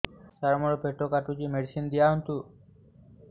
ସାର ମୋର ପେଟ କାଟୁଚି ମେଡିସିନ ଦିଆଉନ୍ତୁ